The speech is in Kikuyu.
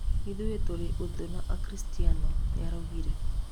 "Ithuĩ tũtĩrĩ ũthũ na na akristiano", nĩaraugire.